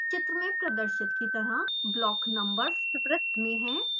चित्र में प्रदर्शित की तरह block numbers वृत में हैं